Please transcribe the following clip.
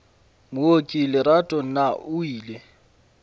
mooki lerato na o ile